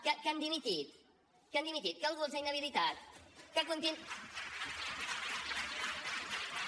que han dimitit que han dimitit que algú els ha inhabilitat que continuen